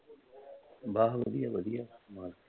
ਬੱਸ ਵਧੀਆ ਵਧੀਆ।